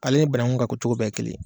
Ale ni banaku ka ko cogo bɛɛ ye kelen ye.